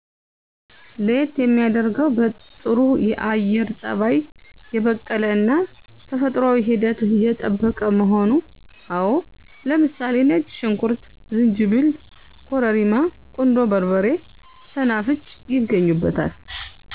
ለየት የሚያደርገው በጥሩ የአየር ፀባይ የበቀለ እና ተፈጥሯዊ ሂደት የጠበቀ መሆኑ። አዎ ለምሳሌ ነጭ ሽንኩርት፣ ዝንጅብል፣ ኮረሪማ፣ ቁንዶ በርበሬ፣ ሰናፍጭ ይገኙበታል።